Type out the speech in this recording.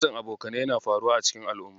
Matsin Abokanai yana faruwa a cikin al'umma.